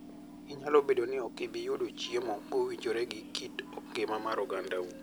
Nyalo bedo ni ok ibi yudo chiemo mowinjore gi kit ngima mar ogandau.